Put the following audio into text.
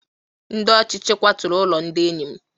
Ndị ọchịchị kwaturu ụlọ ndị enyi m